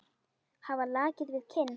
Hafa lakið við kinn.